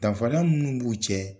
Danfara minnu b'u cɛ